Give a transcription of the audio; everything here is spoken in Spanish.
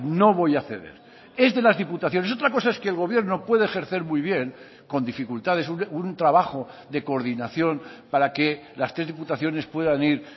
no voy a ceder es de las diputaciones otra cosa es que el gobierno puede ejercer muy bien con dificultades un trabajo de coordinación para que las tres diputaciones puedan ir